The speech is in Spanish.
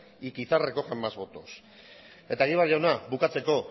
y quizás recojan más votos eta egibar jauna bukatzeko